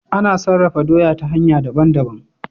Ana sarafa doya doya ta hanya daban daban